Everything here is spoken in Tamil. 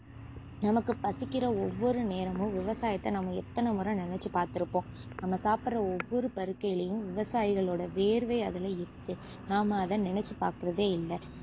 நமக்கு பசிக்கிற ஒவ்வொரு நேரமும் விவசாயத்தை நாம எத்தனைமுறை நினைச்சு பாத்துருப்போம் நம்ம சாப்புடுற ஒவ்வொரு பருக்கையிலேயும் விவசாயிகளோட வியர்வை அதுல இருக்கு நாம அதை நினைச்சுபாக்குறதே இல்ல